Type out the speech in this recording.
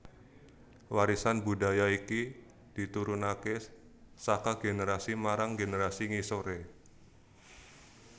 Warisan budaya iki diturunakè saka generasi marang generasi ngisorè